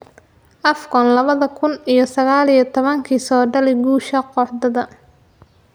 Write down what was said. AFCON labada kun iyo sagaal iyo tobankii: Saadaali guusha kooxdaada